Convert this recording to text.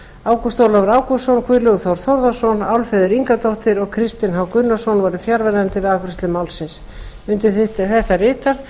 ágúst ólafur ágústsson guðlaugur þór þórðarson álfheiður ingadóttir og kristinn h gunnarsson voru fjarverandi við afgreiðslu málsins undir þetta rita